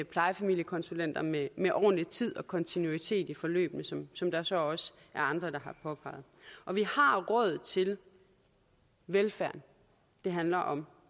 plejefamiliekonsulenter med med ordentlig tid og kontinuitet i forløbene som som der så også er andre der har påpeget og vi har råd til velfærden det handler om